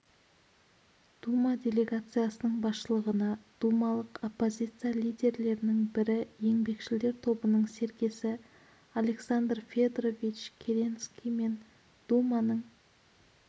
дума делегациясының басшылығына думалық оппозиция лидерлерінің бірі еңбекшілдер тобының серкесі александр федорович керенский мен думаның